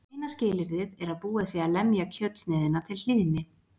Eina skilyrðið er að búið sé að lemja kjötsneiðina til hlýðni.